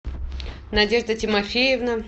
надежда тимофеевна